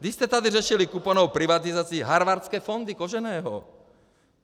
Vy jste tady řešili kuponovou privatizaci, Harvardské fondy Koženého.